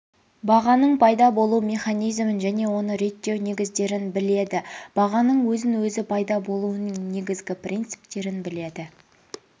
бағаның пайда болуы механизмін және оны реттеу негіздерін біледі бағаның өзін-өзі пайда болуының негізгі принциптерін біледі